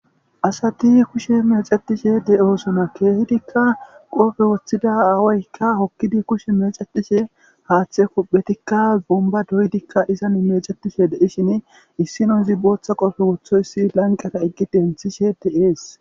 asati kushe mexetishe de7osuna keehidikka qofe woththida aawaykka hokkidi kushe mexetishe haaththe kuphetikka zumba doydikka izan mexettishe deishin issino zi booththa qofe wothoyssi lanqata eggi denthishe de7ees